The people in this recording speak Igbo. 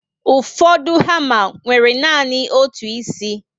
Ụfọdụ hama nwere nanị otu ísì